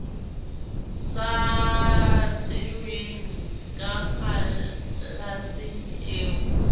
sa tsejweng ka kgalaseng eo